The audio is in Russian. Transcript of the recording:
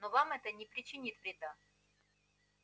но вам это не причинит вреда